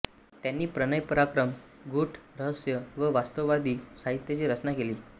त्यांनी प्रणय पराक्रम गूढ रहस्य व वास्तववादी साहित्याची रचना केली